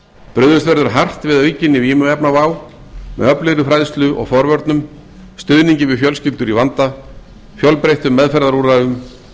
brugðist verður hart við aukinni vímuefnavá með öflugri fræðslu og forvörnum stuðningi við fjölskyldur í vanda fjölbreyttum meðferðarúrræðum